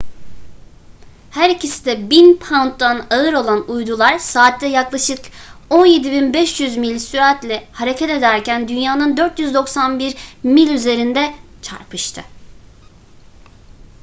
her ikisi de 1.000 pounddan ağır olan uydular saatte yaklaşık 17.500 mil süratle hareket ederken dünya'nın 491 mil üzerinde çarpıştı